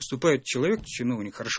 выступает человек чиновник хорошо